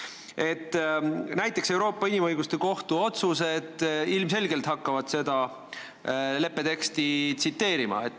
Näiteks hakkavad Euroopa Inimõiguste Kohtu otsused ilmselgelt seda leppe teksti tsiteerima.